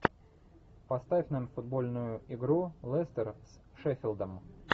поставь нам футбольную игру лестер с шеффилдом